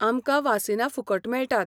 आमकां वासिनां फुकट मेळटात.